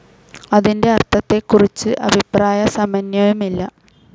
അതിന്റെ അർത്ഥത്തെക്കുറിച്ച് അഭിപ്രായ സമന്വയമില്ല.